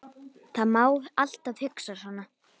Það má alltaf hugsa svona.